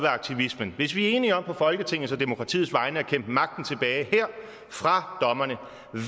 aktivismen hvis vi er enige om på folketingets og demokratiets vegne at kæmpe magten tilbage fra dommerne